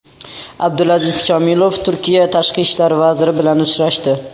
Abdulaziz Kamilov Turkiya tashqi ishlar vaziri bilan uchrashdi.